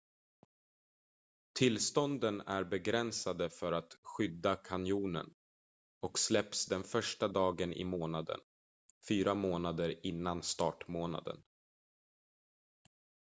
tillstånden är begränsade för att skydda kanjonen och släpps den första dagen i månaden fyra månader innan startmånaden